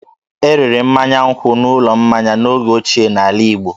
E rere mmanya nkwụ n'ụlọ mmanya n'oge ochie n'ala Igbo